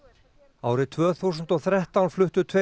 árið tvö þúsund og þrettán fluttu tveir